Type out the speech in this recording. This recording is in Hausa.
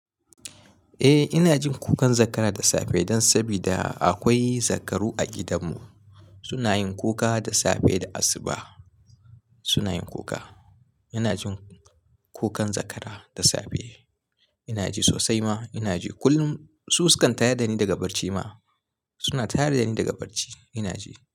Eh ina jin kukan zakara da safe don sabida akwai zakaru a gidanmu. Suna yin kuka da safe da asuba suna yin kuka. Ina jin kukan zakara da safe. Ina ji sosai ma ina ji kullum. Su sukan tayar da ni daga barci ma suna taya da ni daga barci ina ji.